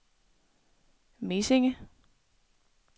Mesinge